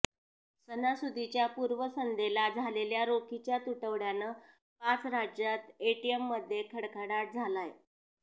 सणासुदीच्या पूर्वसंध्येला झालेल्या रोखीच्या तुटवड्यानं पाच राज्यात एटीएमध्ये खडख़डटात झालाय